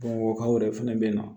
Bamakɔkaw yɛrɛ fɛnɛ bɛ na